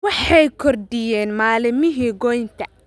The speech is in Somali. Waxay kordhiyeen maalmihii goynta